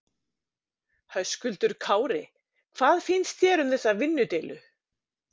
Höskuldur Kári: Hvað finnst þér um þessa vinnudeilu?